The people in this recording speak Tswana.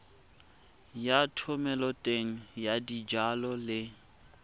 ya thomeloteng ya dijalo le